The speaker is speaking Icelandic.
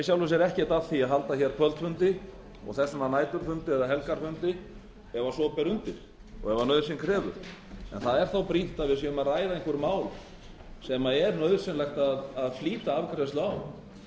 sjálfu sér ekkert að því að halda kvöldfundi og þess vegna næturfundi eða helgarfundi ef svo ber undir og ef nauðsyn krefur en það er þá brýnt að við séum að ræða einhver mál sem er nauðsynlegt að flýta afgreiðslu á